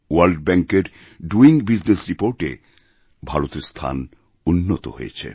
world ব্যাঙ্কএর doing বিজনেসরিপোর্টএ ভারতের স্থান উন্নত হয়েছে